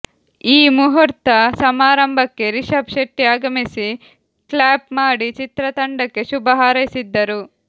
ಈ ಮುಹೂರ್ತ ಸಮಾರಂಭಕ್ಕೆ ರಿಷಬ್ ಶೆಟ್ಟಿ ಆಗಮಿಸಿ ಕ್ಲ್ಯಾಪ್ ಮಾಡಿ ಚಿತ್ರತಂಡಕ್ಕೆ ಶುಭ ಹಾರೈಸಿದ್ದರು